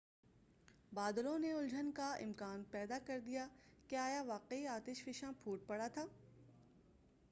بادلوں نے الجھن کا امکان پیدا کردیا کہ آیا واقعی آتش فشاں پھوٹ پڑا تھا